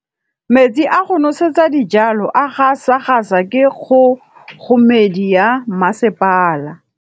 Metsi a go nosetsa dijalo a gasa gasa ke kgogomedi ya masepala.